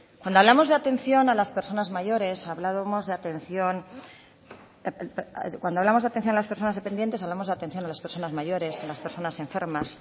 cuando hablamos de atención a las personas dependientes hablamos de atención a las personas mayores a las personas enfermas